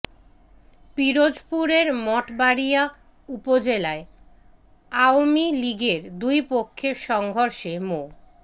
পিরোজপুরের মঠবাড়িয়া উপজেলায় আওয়ামী লীগের দুই পক্ষের সংঘর্ষে মো